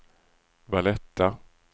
Valletta